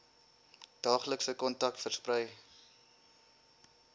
daaglikse kontak versprei